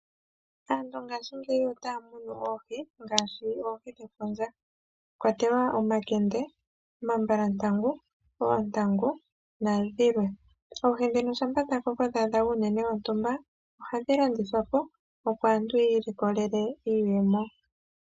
Aantu ngaashingeyi otaa munu oohi ngaashi oohi dhefundja. Omwakwatelwa omakende ,omambalantangu, oontangu nadhilwe. Oohi dhino shampa dha koko dhaadha uunene wontumba ohayi yuulwamo ,tadhi landithwa opo aantu yiilikolele iiyemo.